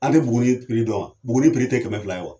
A tɛ Buguni piri dɔn wa? Buguni piri tɛ kɛmɛ fila ye wa.